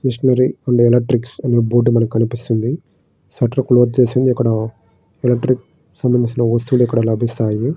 Machinery and electrics అని board మీద కనిపిస్తున్నాయి. షెల్టర్ క్లిజ్ చేసే ఉంది. ఇక్కడ ఎలక్ట్రిక్స్ సంబంధించిన వస్తువులు ఇక్కడ లభిస్తాయి.